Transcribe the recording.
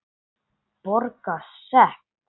Borga sekt?